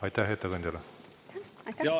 Aitäh ettekandjale!